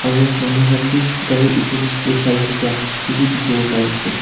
aro manu khan bi gari edu kae saithaka edu bi dikhiwo pariase.